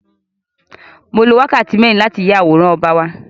Mo lo wákàtí mẹ́rin láti fí ya àwòrán ọba wa.